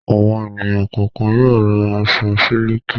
Àwọn ènìyàn kọ̀ọ̀kan yóò ra aṣọ sílíkì.